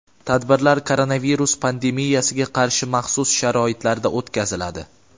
tadbirlar koronavirus pandemiyasiga qarshi maxsus sharoitlarda o‘tkaziladi.